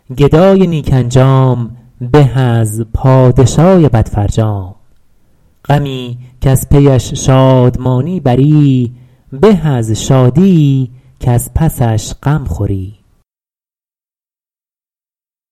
گدای نیک انجام به از پادشای بد فرجام غمی کز پیش شادمانی بری به از شادیی کز پسش غم خوری